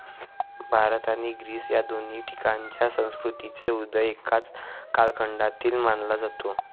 भारत आणि ग्रीस या दोन्ही ठिकाणच्या संस्कृतींचा उदय एकाच कालखंडातील मानला जातो